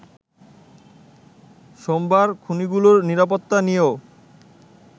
সোমার খনিগুলোর নিরাপত্তা নিয়েও